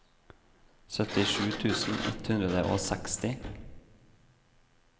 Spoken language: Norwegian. syttisju tusen ett hundre og seksti